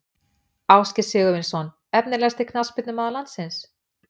Ásgeir Sigurvinsson Efnilegasti knattspyrnumaður landsins?